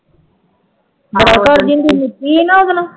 ਬੜਾ ਕਰਦੀ ਹੁੰਦੀ ਸੀ, ਨਿੱਕੀ ਹੈ ਨਾ ਉਹਦਾ ਨਾਂ